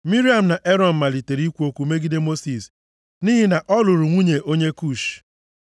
Miriam na Erọn malitere ikwu okwu megide Mosis, nʼihi na ọ lụrụ nwunye onye Kush.